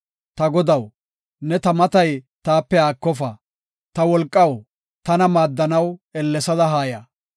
Ta Godaw, ne ta matay taape haakofa; Ta wolqaw, tana maaddanaw ellesada haaya.